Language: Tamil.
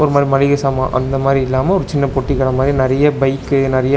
மள் மளிக சாமா அந்த மாரி இல்லாம ஒரு சின்ன பொட்டி கட மாரி நெறைய பைக்கு நெறைய.